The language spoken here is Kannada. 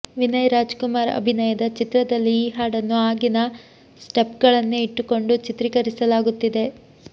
ವಿನಯ್ ರಾಜ್ಕುಮಾರ್ ಅಭಿನಯದ ಚಿತ್ರದಲ್ಲಿ ಈ ಹಾಡನ್ನು ಆಗಿನ ಸ್ಟೆಪ್ಗಳನ್ನೇ ಇಟ್ಟುಕೊಂಡು ಚಿತ್ರೀಕರಿಸಲಾಗುತ್ತಿದೆ